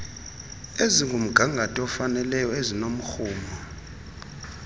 ezingumgangatho ofanayo ezinomrhumo